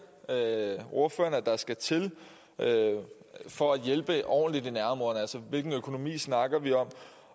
ordføreren at der skal til for at hjælpe ordentligt i nærområderne altså hvilken økonomi snakker vi om